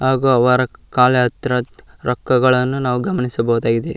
ಹಾಗು ಅವರ ಕಾಲ್ ಹತ್ರ ರೊಕ್ಕಗಳನ್ನು ನಾವು ಗಮನಿಸಬಹುದಾಗಿದೆ.